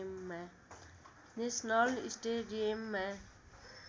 national स्टेडियममा